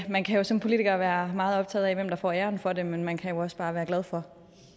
man kan jo som politiker være meget optaget af hvem der får æren for det men man kan jo også bare være glad for